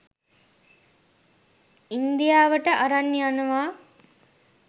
ඉන්දියාවට අරන් යනවා.